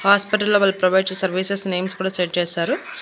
హాస్పిటల్లో వాళ్ళు ప్రొవైడ్ చేసే సర్వీసెస్ నేమ్స్ కూడా సెట్ చేశారు.